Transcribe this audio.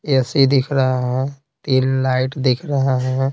AC दिख रहा है तीन लाइट दिख रहा है।